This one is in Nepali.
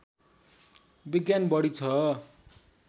विज्ञान बढी ६